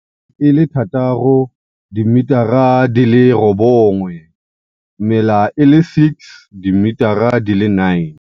E le 6, dimetara di le 9. Mela e le 6 dimetara di le 9.